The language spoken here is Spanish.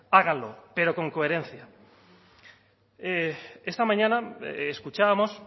háganlo pero con coherencia esta mañana escuchábamos